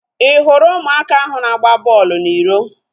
I hụrụ ụmụaka ahu na-agba bọọlụ na iro?